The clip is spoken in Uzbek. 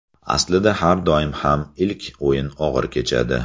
Aslida har doim ham ilk o‘yin og‘ir kechadi.